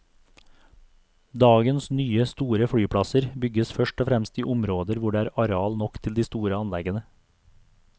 Dagens nye, store flyplasser bygges først og fremst i områder hvor det er areal nok til de store anleggene.